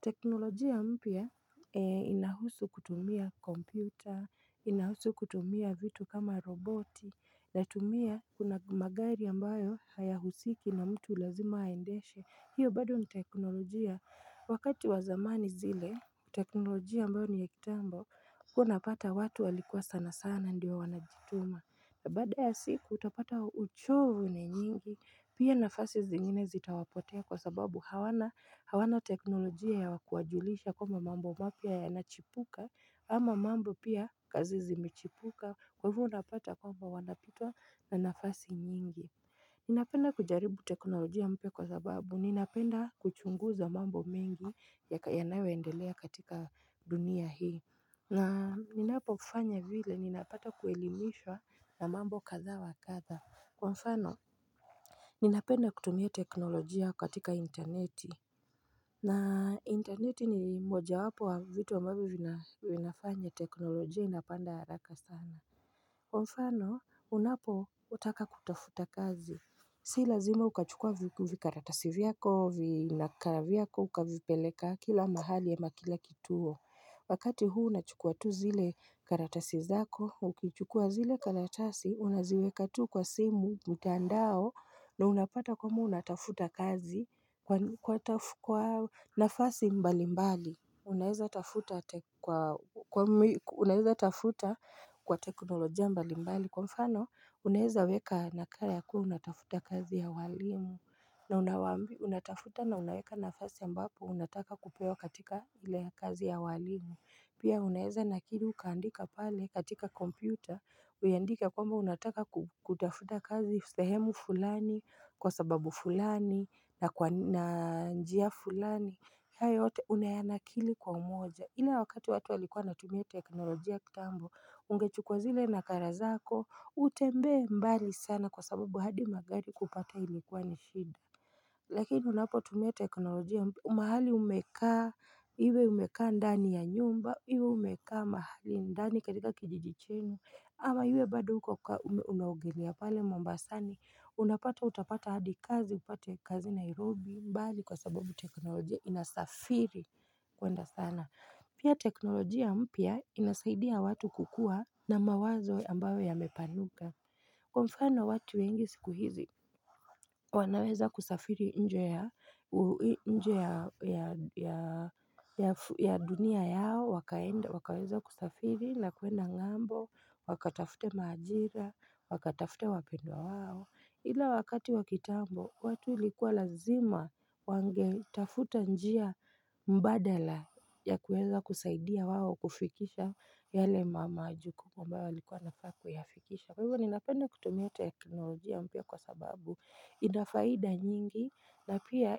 teknolojia mpya inahusu kutumia kompyuta, inahusu kutumia vitu kama roboti, natumia kuna magari ambayo hayahusiki na mtu lazima aendeshe. Hiyo bado ni teknolojia. Wakati wa zamani zile, teknolojia ambayo ni ya kitambo, huwa napata watu walikuwa sana sana ndiyo wanajituma. Baada ya siku utapata uchovu ni nyingi, pia nafasi zingine zitawapotea kwa sababu hawana teknolojia ya wakuwajulisha kwamba mambo mapya yanachipuka, ama mambo pia kazi zimechipuka kwa hivo unapata kwamba wanapitwa na nafasi nyingi. Ninapenda kujaribu teknolojia mpya kwa sababu ninapenda kuchunguza mambo mengi yanayoendelea katika dunia hii na ninapofanya vile ninapata kuelimishwa na mambo kadhaa wa kadhaa Kwa mfano Ninapenda kutumia teknolojia katika interneti na interneti ni mojawapo wa vitu ambavyo vina vinafanya teknolojia inapanda haraka sana Kwa mfano unapoutaka kutafuta kazi Si lazima ukachukua vikaratasi vyako, vinakara vyako, ukavipeleka kila mahali ama kila kituo. Wakati huu unachukua tu zile karatasi zako, ukichukua zile karatasi, unaziweka tu kwa simu, mtandao, na unapata kwamba unatafuta kazi, kwa nafasi mbali mbali. Unaeza tafuta Unaeza tafuta kwa teknolojia mbali mbali. Kwa mfano, unaeza weka nakala ya kuwa unatafuta kazi ya walimu. Na unawaambia, unatafuta na unaweka nafasi ambapo, unataka kupewa katika ile kazi ya walimu. Pia unaeza nakiri ukaandika pale katika kompyuta, uiandike kwamba unataka kutafuta kazi sehemu fulani, kwa sababu fulani, na njia fulani. Haya yote unayanakili kwa umoja. Ile wakati watu alikuwa wanatumia teknolojia kitambo, ungechukua zile nakala zako, utembee mbali sana kwa sababu hadi magari kupata ilikuwa ni shida. Lakini unapotumia teknolojia umahali umekaa, iwe umekaa ndani ya nyumba, iwe umekaa mahali ndani katika kijiji chenu, ama yule bado huko unaogelea pale mambasani Unapata utapata hadi kazi upate kazi Nairobi mbali kwa sababu teknolojia inasafiri kwenda sana Pia teknolojia mpya inasaidia watu kukua na mawazo ambayo yamepanuka Kwa mfano watu wengi siku hizi wanaweza kusafiri nje ya dunia yao wakaweza kusafiri na kuenda ngambo Wakatafute maajira, wakatafute wapendwa wao Ila wakati wa kitambo, watu likuwa lazima wangetafuta njia mbadala ya kueza kusaidia wao kufikisha yale mamajukumu ambayo alikuwa anafaa kuyafikisha Kwa hivyo ninapenda kutumia teknolojia mpya kwa sababu inafaida nyingi na pia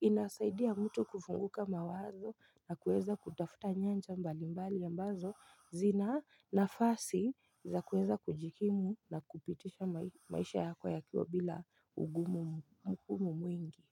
inasaidia mtu kufunguka mawazo na kueza kutafuta nyanja mbali mbali ambazo zina nafasi za kuweza kujikimu na kupitisha maisha yako yakiwa bila ugumu mwingi.